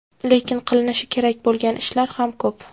Lekin qilinishi kerak bo‘lgan ishlar ham ko‘p.